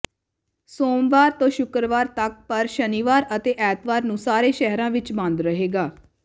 ਸੋਮਵਾਰ ਤੋਂ ਸ਼ੁੱਕਰਵਾਰ ਤੱਕ ਪਰ ਸ਼ਨੀਵਾਰ ਅਤੇ ਐਤਵਾਰ ਨੂੰ ਸਾਰੇ ਸ਼ਹਿਰਾਂ ਵਿੱਚ ਬੰਦ ਰਹੇਗਾ